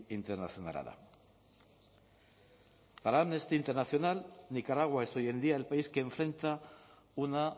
internationala da para amnesty international nicaragua es hoy en día el país que enfrenta una